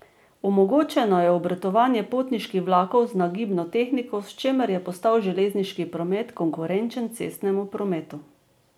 Omogočeno je obratovanje potniških vlakov z nagibno tehniko, s čimer je postal železniški promet konkurenčen cestnemu prometu.